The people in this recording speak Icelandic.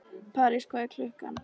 París, hvað er klukkan?